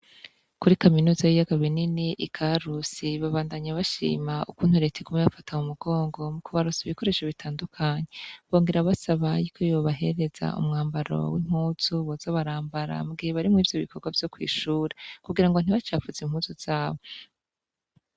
Kuri kaminuza y'ibiyaga binini i Karusi, babandanya bashima ukuntu Reta iguma ibafata mu mugongo mukubaronsa ibikoresho bitandukanye bongera basaba umwambaro w'impuzu boza barambara mu gihe bari mwibyo bikorwa vy'ishure kugira ntibacafuze impuzu zabo.